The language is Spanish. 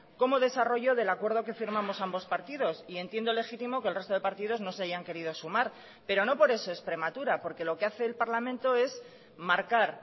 como desarrollo del acuerdo que firmamos ambos partidos y entiendo legítimo que el resto de partidos no se hayan querido sumar pero no por eso es prematura porque lo que hace el parlamento es marcar